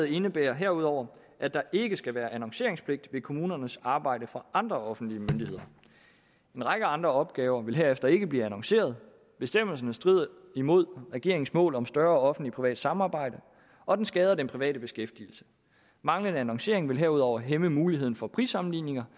indebærer herudover at der ikke skal være annonceringspligt ved kommunernes arbejde for andre offentlige myndigheder en række andre opgaver vil herefter ikke blive annonceret bestemmelsen strider imod regeringens mål om større offentlig privat samarbejde og den skader den private beskæftigelse manglende annoncering vil herudover hæmme muligheden for prissammenligninger